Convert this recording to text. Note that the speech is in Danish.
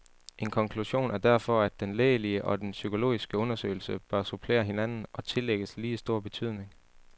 En konklusion er derfor, at den lægelige og den psykologiske undersøgelse bør supplere hinanden og tillægges lige stor betydning.